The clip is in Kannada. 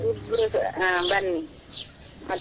ಇಬ್ರುಸ, ಹಾ ಬನ್ನಿ ಮತ್ತೆ.